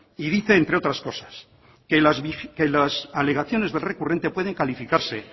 y dice entre otras cosas que las alegaciones del recurrente pueden calificarse